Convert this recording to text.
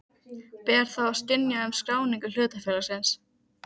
Ber þá að synja um skráningu hlutafélags.